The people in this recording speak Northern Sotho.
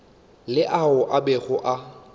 le ao a bego a